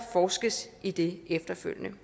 forskes i det efterfølgende